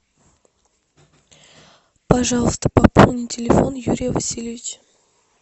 пожалуйста пополни телефон юрия васильевича